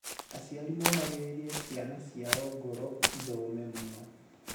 aciari momagirĩrĩe ciana ciao ngoro ithome mũno.